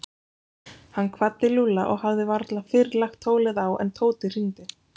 Hann kvaddi Lúlla og hafði varla fyrr lagt tólið á en Tóti hringdi.